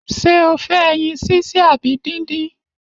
Ṣé o fẹ ẹyin sise abi dindin?